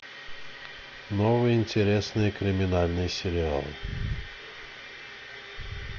новые интересные криминальные сериалы